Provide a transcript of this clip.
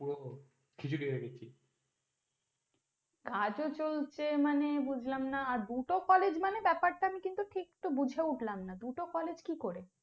কাজও চলছে মানে বুঝলাম না, আর দুটো college মানে ব্যপারটা কিন্তু আমি ঠিক বুঝে উঠলাম না, দুটো college কি করে?